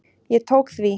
Ég tók því.